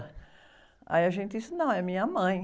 Aí a gente disse, não, é minha mãe.